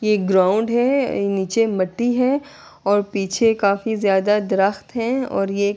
یہ گراؤنڈ ہے۔ یہ نیچے متی ہے اور پیچھے کافی جیادہ درخت ہے اور یہ--